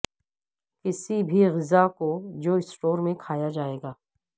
کسی بھی غذا کو جو اسٹور میں کھایا جائے گا